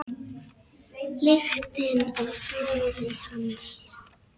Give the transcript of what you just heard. Lyktina af blóði hans.